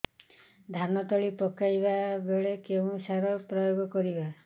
ଧାନ ତଳି ପକାଇବା ବେଳେ କେଉଁ ସାର ପ୍ରୟୋଗ କରିବା